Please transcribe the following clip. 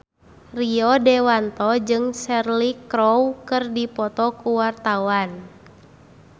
Rio Dewanto jeung Cheryl Crow keur dipoto ku wartawan